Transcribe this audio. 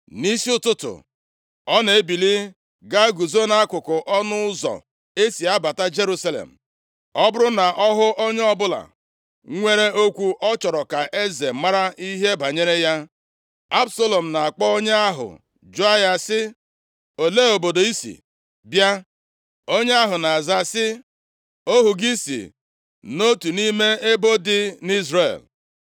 Nʼisi ụtụtụ, ọ na-ebili gaa guzo nʼakụkụ ọnụ ụzọ e si abata Jerusalem. Ọ bụrụ na ọ hụ onye ọbụla nwere okwu ọ chọrọ ka eze mara ihe banyere ya, Absalọm na-akpọ onye ahụ jụọ ya sị, “Olee obodo i si bịa?” Onye ahụ na-aza sị, “Ohu gị si nʼotu nʼime ebo dị nʼIzrel.”